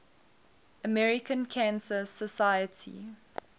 american cancer society